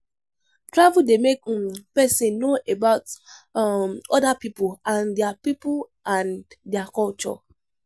Travel dey make um person know about um other pipo and their pipo and their culture.